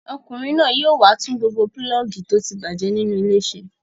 Ọkùnrin náà yóò wá tún gbogbo pulọ́ọ́gì tó ti bàjẹ́ nínú ilé ṣe.